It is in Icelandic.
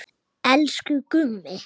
Elsku Gummi.